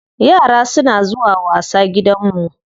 Yara suna zuwa wasa gidanmu.